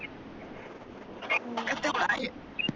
हम्म